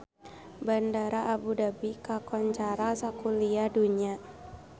Bandara Abu Dhabi kakoncara sakuliah dunya